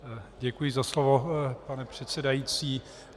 Děkuji za slovo, pane předsedající.